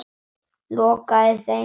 Lokaði þeim.